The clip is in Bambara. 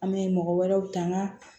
An bɛ mɔgɔ wɛrɛw ta an ka